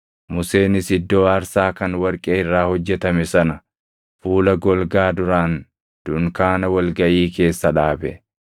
Museenis iddoo aarsaa kan warqee irraa hojjetame sana fuula golgaa duraan dunkaana wal gaʼii keessa dhaabe.